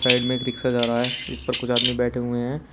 Side में एक रिक्शा जा रहा है। इस पर कुछ आदमी बैठे हुए हैं।